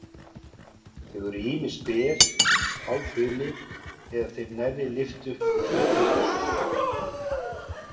Þau eru ýmist ber, hálfhulin eða þeim nærri lyft upp úr flegnum blússum.